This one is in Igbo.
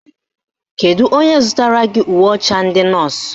Kedu onye zụtara gị uwe ọcha ndị nọọsụ?